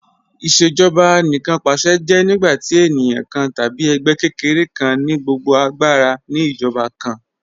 Ìṣèjọba Anìkanpàṣẹ jẹ́ nígbàtí ènìyàn kàn tàbí ègbẹ́ kẹ́kẹ̀rẹ̀ kàn ni gbogbo agbàra ni ìjọba kàn